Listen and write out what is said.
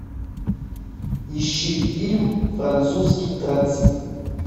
ищи фильм французский транзит